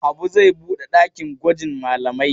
Habu zai buɗe ɗakin gwajin malamai.